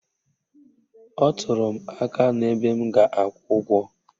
Ọ tụrụ m aka n'ebe m ga-akwụ ụgwọ